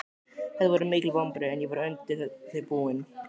Þetta voru mikil vonbrigði en ég var undir þau búinn.